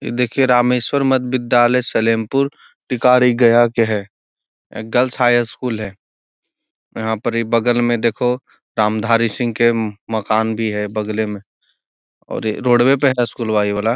ये देखिये रामेश्वर मध्य विद्यालय सलेमपुर टिकरी गया के है गर्ल्स हाई स्कूल है यहाँ पर बगल में देखो रामधारी सिंह के म मकान भी है बगले में और रोडवे पे है स्कूलवा इ वाला I